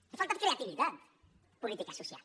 els ha faltat creativitat en política social